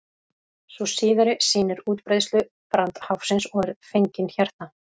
sú síðari sýnir útbreiðslu brandháfsins og er fengin hérna